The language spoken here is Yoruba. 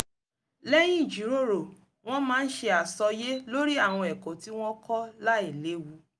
lẹ́yìn ìjìròrò wọ́n máa ń ṣe àsọyé lórí àwọn ẹ̀kọ́ tí wọ́n kọ́ láìléwu